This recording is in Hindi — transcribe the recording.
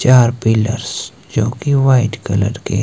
चार पिलर्स जो कि व्हाइट कलर के--